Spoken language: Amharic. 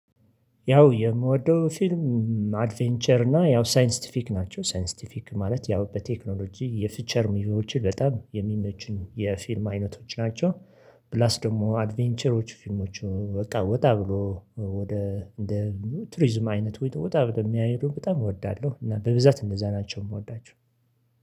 ያው የምወደው ፊልም አድቬንቸር እና ያው ሳይንስቲፊክ ናቸው ሳይንስቲፊክ ማለት ያው በቴክኖሎጂ የፊቸር ሙቪዎች በጣም የሚመቹኝ የፊልም አይነቶች ናቸው። ፕላስ ደግሞ አድቬንቸሮች ፊልሞች በቃ ወጣ ብሎ ወደ እንደ ቱሪዝም አይነት ወጣ ብሎ የሚያይዱ በጣም እወዳለሁ እና በብዛት እነዛ ናቸው የምወዳቸው።